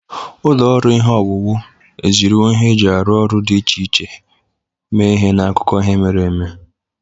Ụlọ ọrụ ihe owuwu ejiriwo ihe eji arụ ọrụ dị iche iche mee ihe n'akụkọ ihe mere eme.